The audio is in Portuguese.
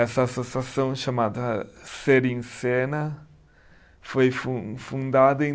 Essa associação, chamada Ser em cena, foi fun fundada em .